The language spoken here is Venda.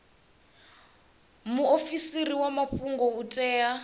muofisi wa mafhungo u tea